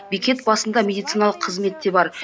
бекет басында медициналық қызмет те бар